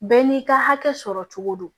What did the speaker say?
Bɛɛ n'i ka hakɛ sɔrɔ cogo don